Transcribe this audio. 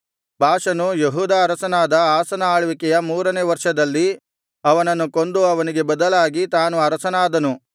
ಬಾಷನು ಯೆಹೂದ ಅರಸನಾದ ಆಸನ ಆಳ್ವಿಕೆಯ ಮೂರನೆಯ ವರ್ಷದಲ್ಲಿ ಅವನನ್ನು ಕೊಂದು ಅವನಿಗೆ ಬದಲಾಗಿ ತಾನು ಅರಸನಾದನು